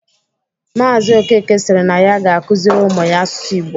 Maazi Okeke siri na ya ga-akụziri ụmụ ya asụsụ Ịgbo